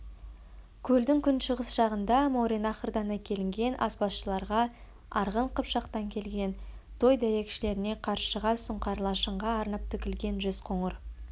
көлдің күншығыс жағында мауреннахрдан әкелінген аспазшыларға арғын қыпшақтан келген той дәйекшілеріне қаршыға сұңқар-лашынға арнап тігілген жүз қоңыр